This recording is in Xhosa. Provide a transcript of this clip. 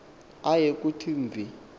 aye kuthi mvi